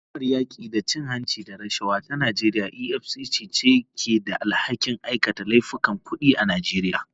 Hukumar yaki da cin hanci da rashawa ta Najeriya EFCC ce ke da alhakin aikata laifukan kudi a Najeriya.